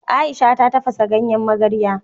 Ai'sha ta tafasa ganyen magarya.